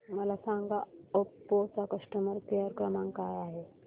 मला सांगा ओप्पो चा कस्टमर केअर क्रमांक काय आहे